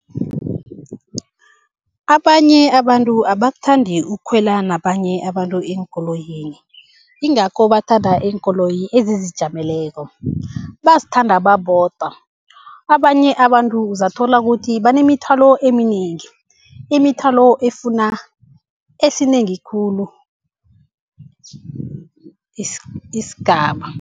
Abanye abantu abakuthandi ukukhwela nabanye abantu eenkoloyini, ingakho bathanda iinkoloyi ezizijameleko, bazithanda babodwa. Abanye abantu uzathola ukuthi banemithwalo eminengi, imithwalo efuna esinengi khulu isigaba.